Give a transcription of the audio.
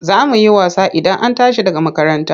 Za mu yi wasa Idan an tashi daga makaranta.